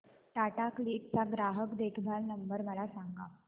Tata click चा ग्राहक देखभाल नंबर मला सांगा